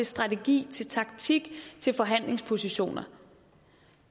strategi taktik og til forhandlingspositioner